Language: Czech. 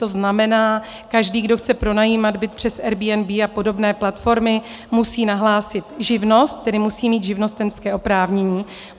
To znamená, každý, kdo chce pronajímat byt přes Airbnb a podobné platformy, musí nahlásit živnost, tedy musí mít živnostenské oprávnění.